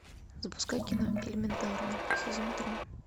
запускай кино элементарно сезон три